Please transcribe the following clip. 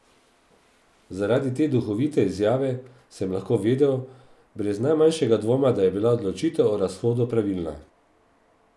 Zaradi te duhovite izjave sem lahko vedel, brez najmanjšega dvoma, da je bila odločitev o razhodu pravilna.